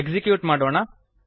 execute ಮಾಡೋಣ